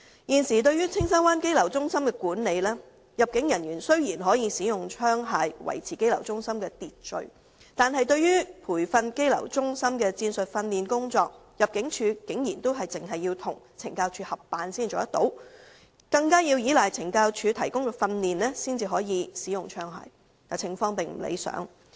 現時對於青山灣羈留中心的管理，雖然入境處人員可使用槍械以維持羈留中心的秩序，但關於羈留中心的戰術訓練工作，入境處竟然要與懲教署合辦才可提供培訓，更要依賴懲教署提供訓練才可使用槍械，情況並不理想。